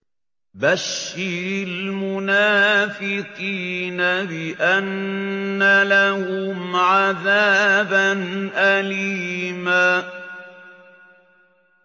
بَشِّرِ الْمُنَافِقِينَ بِأَنَّ لَهُمْ عَذَابًا أَلِيمًا